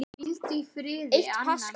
Eitt paskal